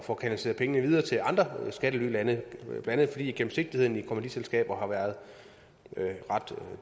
få kanaliseret penge videre til andre skattelylande blandt andet fordi gennemsigtigheden i kommanditselskaber har været ret